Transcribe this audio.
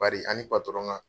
Bari an ni ka